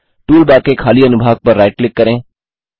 toolbar के खाली अनुभाग पर राइट क्लिक करें